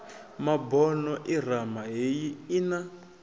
mabono irama heyi i na